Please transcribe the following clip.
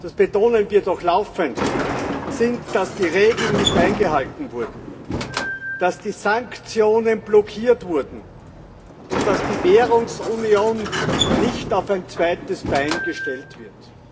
Einige der Ursachen sind das betonen wir doch laufend dass die Regeln nicht eingehalten wurden, dass die Sanktionen blockiert wurden und dass die Währungsunion nicht auf ein zweites Bein gestellt wird.